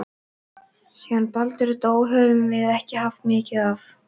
Síðan Baldur dó höfum við ekki haft mikið af